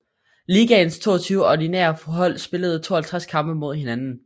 Ligaens 22 ordinære hold spillede 52 kampe mod hinanden